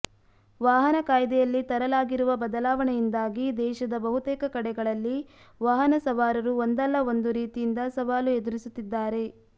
ವಾಹನ ಕಾಯ್ದೆಯಲ್ಲಿ ತರಲಾಗಿರುವ ಬದಲಾವಣೆಯಿಂದಾಗಿ ದೇಶದ ಬಹುತೇಕ ಕಡೆಗಳಲ್ಲಿ ವಾಹನ ಸವಾರರು ಒಂದಲ್ಲ ಒಂದು ರೀತಿಯಿಂದ ಸವಾಲು ಎದುರಿಸುತ್ತಿದ್ದಾರೆ